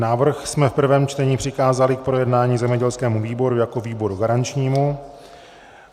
Návrh jsme v prvém čtení přikázali k projednání zemědělskému výboru jako výboru garančnímu.